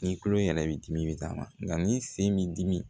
Ni tulo yɛrɛ b'i dimi i bi taama nka ni sen b'i dimi